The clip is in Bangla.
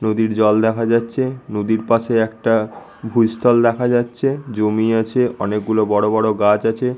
নদীর জল দেখা যাচ্ছে। নদীর পাশে একটা ভুস্থল দেখা যাচ্ছে। জমি আছে অনেক গুলো বড়ো বড়ো গাছ আছে।